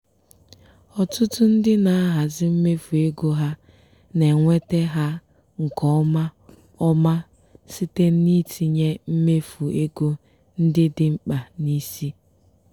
ọtụtụ ndị na-ahazi mmefu ego ha na-enweta ha nke ọma ọma site n'itinye mmefu ego ndị dị mkpa n'isi.